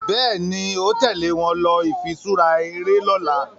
Béèni o tèlé wón ló ifiṣura eré lỌ̀la